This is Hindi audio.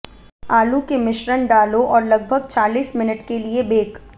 आलू के मिश्रण डालो और लगभग चालीस मिनट के लिए बेक